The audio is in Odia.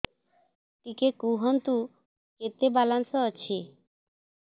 ଟିକେ କୁହନ୍ତୁ କେତେ ବାଲାନ୍ସ ଅଛି